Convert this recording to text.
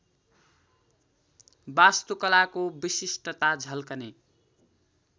वास्तुकलाको विशिष्टता झल्कने